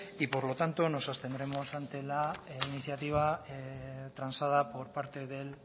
y por lo tanto nos abstendremos ante la iniciativa transada por parte del